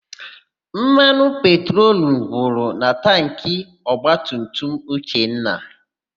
Mmanụ petrolu gwụrụ na tankị ọgbatumtum Uchenna.